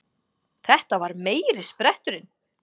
Þetta var meiri spretturinn!